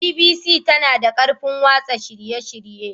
BBC tana da ƙarfin watsa shirye-shirye.